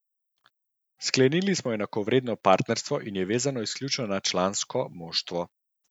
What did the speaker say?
Sklenili smo enakovredno partnerstvo in je vezano izključno na člansko moštvo.